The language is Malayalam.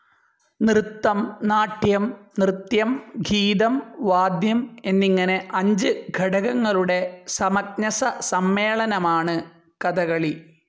നൃത്തം, നാട്യം, നൃത്യം, ഗീതം, വാദ്യം, എന്നിങ്ങനെ അഞ്ച് ഘടകങ്ങളുടെ സമഞ്ജസ സമ്മേളനമാണ് കഥകളി.